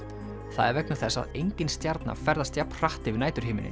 það er vegna þess að engin stjarna ferðast jafn hratt yfir